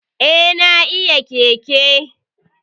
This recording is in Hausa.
Eh, na iya keke